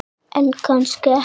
En kannski ekki.